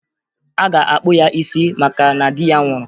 A ga-akpụ ya isi maka na di ya nwụrụ